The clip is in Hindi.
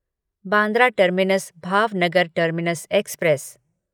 Bandra terminus Bhavnagar terminus express